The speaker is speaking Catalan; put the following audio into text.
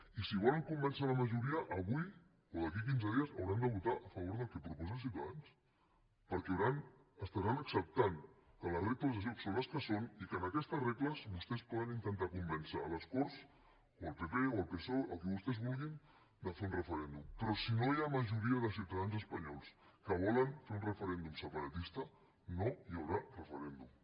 i si volen convèncer la majoria avui o d’aquí a quinze dies hauran de votar a favor del que proposa ciutadans perquè estaran acceptant que les regles del joc són les que són i que amb aquestes regles vostès poden intentar convèncer a les corts o el pp o el psoe qui vostès vulguin de fer un referèndum però si no hi ha majoria de ciutadans espanyols que volen fer un referèndum separatista no hi haurà referèndum